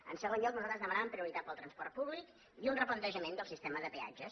en segon lloc nosaltres demanàvem prioritat pel transport públic i un replantejament del sistema de peatges